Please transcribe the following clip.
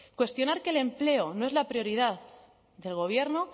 cuestionar que el empleo no es la prioridad del gobierno